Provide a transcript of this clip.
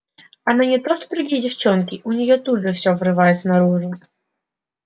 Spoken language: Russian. она не то что другие девчонки у неё тут же все вырывается наружу